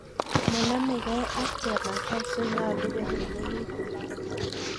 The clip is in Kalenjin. Monomekei ak chemasai so nyolu kotililit mbaret.